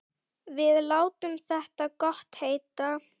Við látum þetta gott heita.